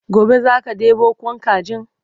gobe zaka ɗebo Kwan kajin?